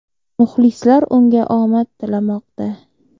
Muxlislar unga omad tilamoqda.